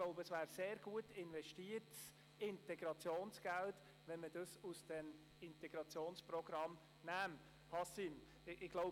– Nähme man es aus dem Integrationsprogramm, wäre es sehr gut investiertes Integrationsgeld, wie ich glaube.